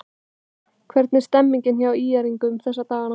Hvernig er stemningin hjá ÍR-ingum þessa dagana?